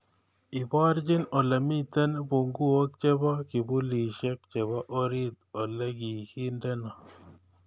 Ibarchi olemiten bunguok chebo kibulishek chebo orit olegigindeno